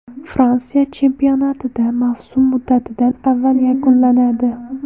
Fransiya chempionatida mavsum muddatidan avval yakunlanadi.